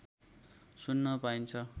सुन्न पाइन्छ